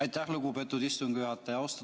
Aitäh, lugupeetud istungi juhataja!